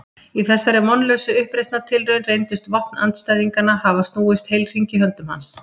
Í þessari vonlausu uppreisnartilraun reyndust vopn andstæðinganna hafa snúist heilhring í höndum hans.